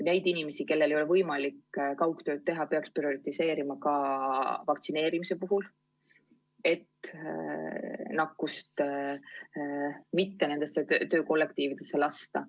Neid inimesi, kellel ei ole võimalik kaugtööd teha, peaks prioritiseerima ka vaktsineerimise puhul, et nakkust mitte nendesse töökollektiividesse lasta.